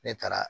Ne taara